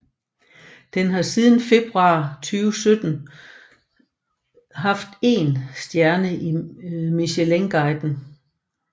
Den har siden februar 2017 haft én stjerne i Michelinguiden